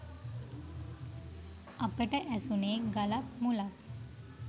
අපට ඇසුණේ ගලක් මුලක්